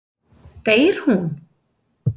Deyr hún?